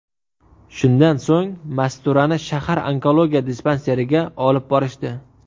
Shundan so‘ng Masturani shahar onkologiya dispanseriga olib borishdi.